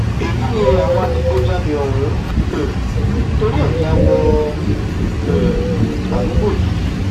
èyí ni àwọn adigunjalè ọhún um torí ẹ ya wọ um àdúgbò yìí